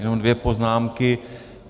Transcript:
Jenom dvě poznámky.